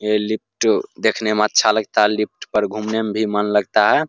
ये लिफ्ट देखने में अच्छा लगता हैं लिफ्ट पर घूमने मे भी मन लगता हैं ।